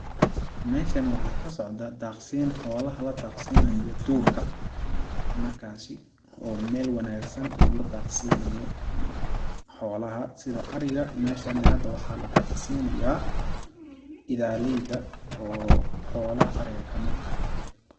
Meeshani waxaa ka socdaa daaqsiin xoolaha la daaqsinayo duurka, markaasi oo meel wanaagsan la daaqsinayo xoolaha sida ariga meeshani hada waxaa la daaqsinayaa idaaleyda oo xoolaha ariga kamid ah .